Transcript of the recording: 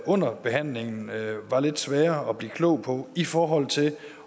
under behandlingen var lidt svære at blive klog på i forhold til